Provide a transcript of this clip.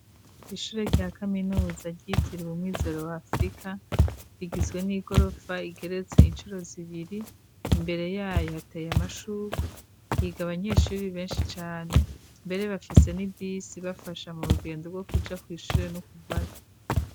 Ishure rya kaminuza ryitiraw umumwizero wafrika rigizwe n'i gorofa igeretse incuro zibiri imbere yayo hateye amashurwa higa abanyeshuri benshi cane mbere bafise n'ibisi bafasha mu rugendo rwo kuja kw'ishure n'ukuvaya.